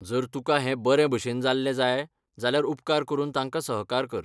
जर तुकां हें बरेभशेन जाल्लें जाय जाल्यार उपकार करून तांकां सहकार कर.